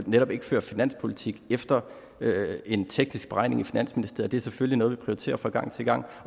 netop ikke fører finanspolitik efter en teknisk beregning i finansministeriet det er selvfølgelig noget vi prioriterer fra gang til gang